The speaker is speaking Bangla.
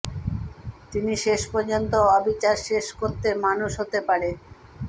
তিনি শেষ পর্যন্ত অবিচার শেষ করতে মানুষ হতে পারে